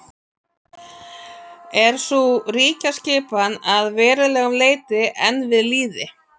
er sú ríkjaskipan að verulegu leyti enn við lýði